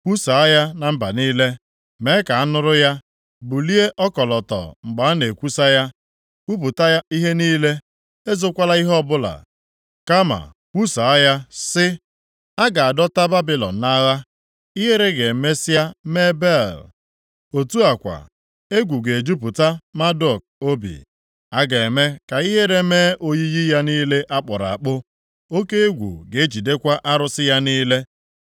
“Kwusaa ya na mba niile, mee ka a nụrụ ya; bulie ọkọlọtọ mgbe a na-ekwusa ya. Kwupụta ihe niile, ezokwala ihe ọbụla, kama kwusaa ya sị, ‘A ga-adọta Babilọn nʼagha. Ihere ga-emesịa mee Bel; otu a kwa, egwu ga-ejupụta Maduk obi. A ga-eme ka ihere mee oyiyi ya niile a kpụrụ akpụ; oke egwu ga-ejidekwa arụsị ya niile.’